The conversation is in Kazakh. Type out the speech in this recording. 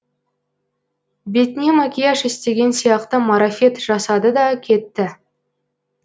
бетіне макияж істеген сияқты марафет жасады да кетті